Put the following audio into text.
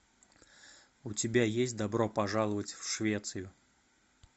у тебя есть добро пожаловать в швецию